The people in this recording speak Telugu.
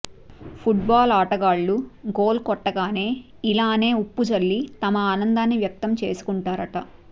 ఫుట్ బాల్ ఆటగాళ్లు గోల్ కొట్టగానే ఇలానే ఉప్పు జల్లి తమ ఆనందాన్ని వ్యక్తం చేసుకుంటారట